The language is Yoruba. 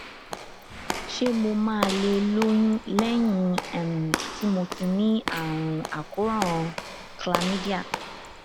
ṣé mo máa lè lóyún lẹyìn um tí mo ti ní àrùn àkóràn chlamydia